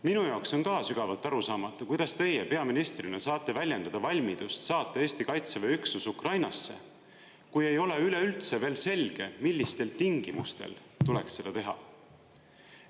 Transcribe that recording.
Minu jaoks on ka sügavalt arusaamatu, kuidas teie peaministrina saate väljendada valmidust saata Eesti Kaitseväe üksus Ukrainasse, kui ei ole üleüldse veel selge, millistel tingimustel tuleks seda teha.